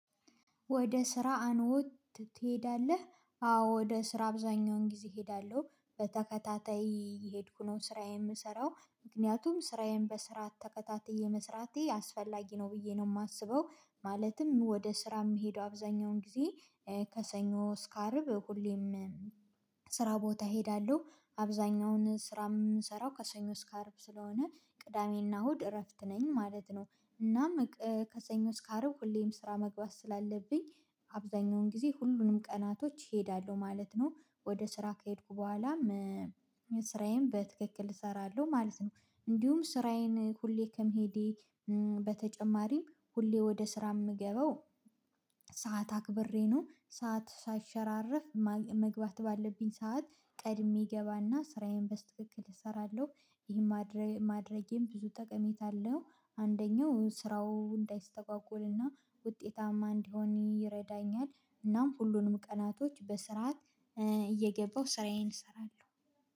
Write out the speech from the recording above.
ወደ ስራ አንወት ትሄዳለህ? አዎ ወደ ስራ አብዛኛውን ጊዜ እሄዳለሁ በተከታታይ የሄድኩ ነው ስራዬን የምሰራው ምክንያቱም ስራዬን በስራ ተከታተዬ የመስራቴ አስፈላጊ ነው ብዬ ነው የማስበው። ማለትም ወደ ስራ የምሄደው አብዛኛውን ጊዜ። ከሰኞ እስከ አርብ ሁሌም ስራ ቦታ እሄዳለሁ። አብዛኛውን ስራ የምንሰራው ከሰኞ እስከ አርብ ስለሆነ ቅዳሜና ሆድ እረፍት ነኝ ማለት ነው። እናም ከሰኞ እስከ አርብ ሁሌም ስራ መግባት ስላለብኝ አብዛኛውን ጊዜ ሁሉንም ቀናቶች እሄዳለሁ ማለት ነው። ወደ ስራ ከሄድኩ በኋላ። ስራዬን በትክክል እሰራለሁ ማለት ነው። እንዲሁም ስራዬን ሁሌ ከመሄዴ በተጨማሪም ሁሌ ወደ ስራ የምገባው ሰዓት አክብሬ ነው ሰዓት ሳይሸራረፍ መግባት ባለብኝ ሰዓት ቀድሜ እገባና ስራዬን በስትክክል እሰራለሁ። ይሄን ማድረጌም ብዙ ጠቀሜታ አለው። አንደኛው ስራው እንዳይስተጓጎልና ውጤታማ እንዲሆን ይረዳኛል። እናም ሁሉንም ቀናቶች በስርዓት እየገባሁ ስራዬን እሰራለሁ።